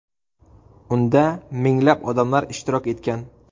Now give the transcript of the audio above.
Unda minglab odamlar ishtirok etgan.